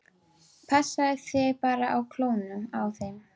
Passaðu þig bara á klónum á þeim.